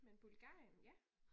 Men Bulgarien ja?